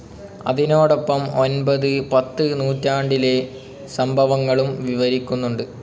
അതിനോടൊപ്പം ഒൻപത്, പത്ത് നൂറ്റാണ്ടിലെ സംഭവങ്ങളും വിവരിക്കുന്നുണ്ട്.